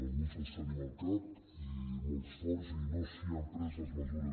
alguns els tenim al cap i molt forts i no s’hi han pres les mesures